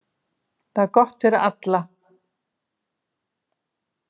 Það er gott fyrir alla.